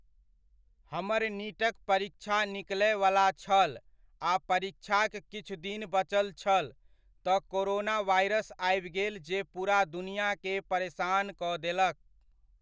हमर नीटक परीक्षा निकलयवला छल आ परीक्षाक किछु दिन बचल छल, तऽ कोरोना वायरस आबि गेल जे पूरा दुनिआकेँ परेसान कऽ देलक।